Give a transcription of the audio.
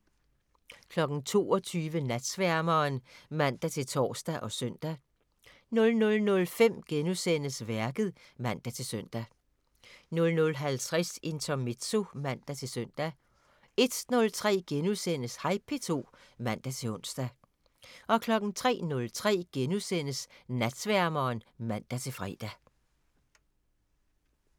22:00: Natsværmeren (man-tor og søn) 00:05: Værket *(man-søn) 00:50: Intermezzo (man-søn) 01:03: Hej P2 *(man-ons) 03:03: Natsværmeren *(man-fre)